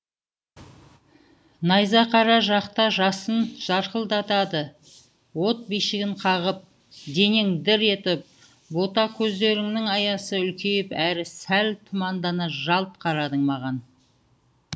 найзақара жақта жасын жарқылдады от бишігін қағып денең дір етіп бота көздеріңнің аясы үлкейіп әрі сәл тұмандана жалт қарадың маған